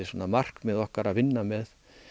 markmið okkar að vinna með